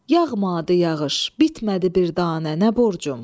Yağmadı yağış, bitmədi bir danə, nə borcum?